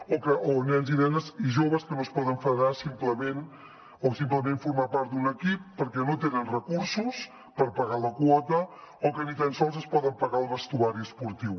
o nens i nenes i joves que no es poden federar o simplement formar part d’un equip perquè no tenen recursos per pagar la quota o que ni tan sols es poden pagar el vestuari esportiu